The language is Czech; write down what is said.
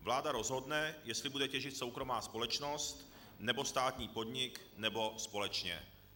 Vláda rozhodne, jestli bude těžit soukromá společnost, nebo státní podnik, nebo společně."